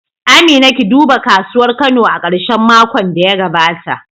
Amina, ki duba kasuwar Kano a karshen makon da ya gabata